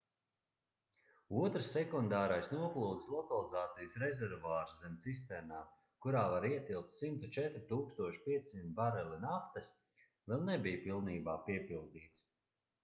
otrs sekundārais noplūdes lokalizācijas rezervuārs zem cisternām kurā var ietilpt 104 500 bareli naftas vēl nebija pilnībā piepildīts